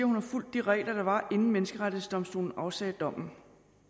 hun har fulgt de regler der var inden menneskerettighedsdomstolen afsagde dommen